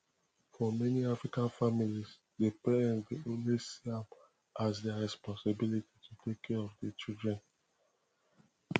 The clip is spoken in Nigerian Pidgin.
for many african families di parent dey always see am as their responsibility to take care of di children